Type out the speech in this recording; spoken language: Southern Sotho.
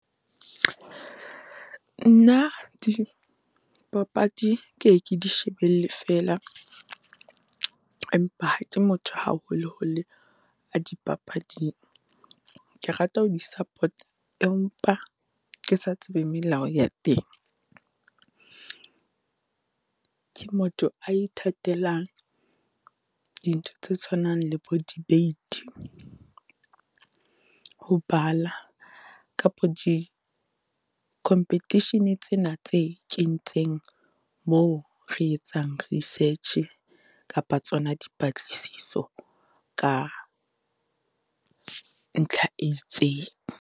Nna di papadi ke ye ke di shebelle fela, empa ha ke motho haholoholo a dipapading. Ke rata ho di-support-a empa ke sa tsebe melao ya teng, ke motho a ithatelang dintho tse tshwanang le bo debate. Ho bala kapa di-competition tsena tse kentseng moo re etsang research-e, kapa tsona dipatlisiso ka ntlha e itseng.